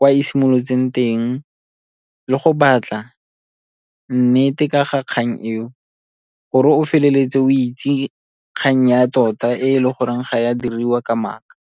kwa e simolotseng teng le go batla nnete ka ga kgang eo, gore o feleletse o itse kgang ya tota e le goreng ga e a diriwa ka maaka.